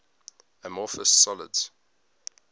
amorphous solids